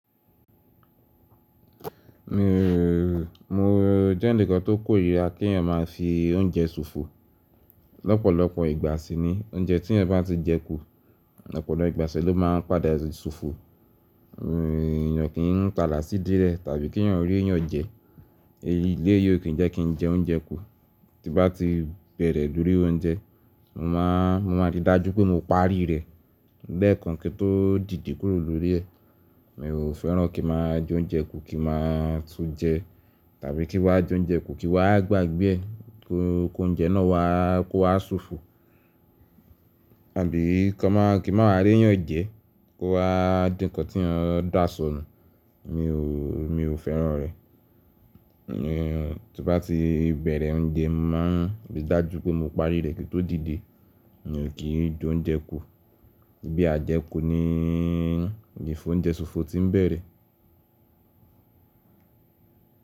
Mi o, mo jẹ́ ǹkan tó kò irira kí èèyàn máa fi oúnjẹ ṣòfò. Ọ̀pọ̀lọpọ̀ ìgbà si ni oúnjẹ tí èèyàn bá ti jẹ kú, ọ̀pọ̀lọpọ̀ ìgbà ló máa ń padà ṣòfò. Mi o, èèyàn kì í ń ta làásí dílẹ̀ tàbí kí èèyàn rí èèyàn jẹ. Eyi ilé yìí o kí n jẹ kí n jẹ oúnjẹ kú. Tí bá ti bẹ̀rẹ̀ lórí oúnjẹ, mo má a, mo máa rí i dájú pé mo parí rẹ̀, lẹ́ẹ̀kan kíi tó dìde kúrò lórí ẹ. Mi ò fẹ́ràn kí ǹ má a jẹ oúnjẹ kú kí a máa tún jẹ tàbí kí wa jẹ oúnjẹ kú kí wa gbàgbé ẹ, ko, ko oúnjẹ náà wa kó wá ṣòfò. Tàbí kí a má a, kí wa máa rí ẹ̀yàn jẹ kó wá dì ǹkan tí èèyàn dá sọnù, mi ò, mi ò fẹ́ràn rẹ̀. Mi o, tí bá ti bẹ̀rẹ̀ oúnjẹ, mo máa rí i dájú pé mo parí rẹ̀ kíi ǹ tó dìde. Èèyàn kì í jẹ oúnjẹ kú. Bí a jẹ kú ní, ni fún oúnjẹ ṣòfò tí ń bẹ̀rẹ̀.